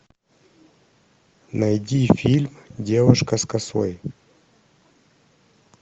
найди фильм девушка с косой